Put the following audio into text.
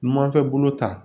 Numanfɛn bolo ta